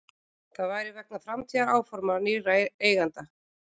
Það væri vegna framtíðaráforma nýrra eigenda